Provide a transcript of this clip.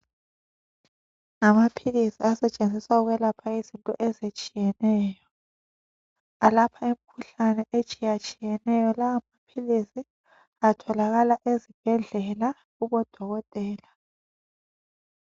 Ngamaphilisi asetshenziswa ukwelapha izifo ezitshiyeneyo alapha imikhuhlane etshiye tshiyeneyo lawa maphilisi atholakala ezibhedlela kubodokotela.